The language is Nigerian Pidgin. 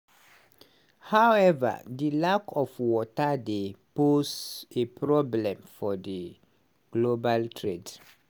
howeva di lack of water dey pose a problem for global trade.